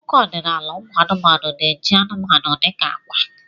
Akụkọ ọdịnala ụmụ anụmanụ na-eji anụmanụ dị ka agwa.